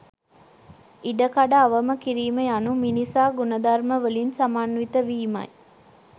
ඉඩකඩ අවම කිරීම යනු මිනිසා ගුණධර්මවලින් සමන්විත වීමයි